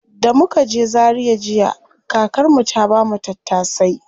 Da muka je zaria jiya, kakar mu ta bamu tattasai.